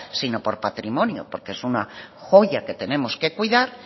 sino por patrimonio porque es una joya que tenemos que cuidar